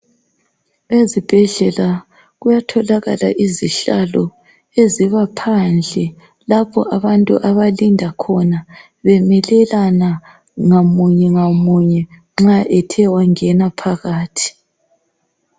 Ezibhedlela kuyatholakala izihlalo eziba phandle lapho abantu abalinda khona bemelelana ngamunye ngamunye nxa ethe wangena phakathi.